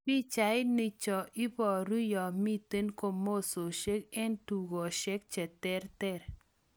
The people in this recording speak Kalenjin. Pichait nii chu koparu nyamiten komososiek eng tukosiek che terter.